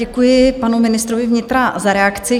Děkuji panu ministrovi vnitra za reakci.